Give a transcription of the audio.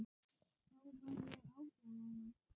Þá var ég átján ára.